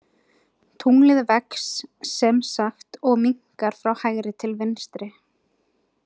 Tunglið vex sem sagt og minnkar frá hægri til vinstri.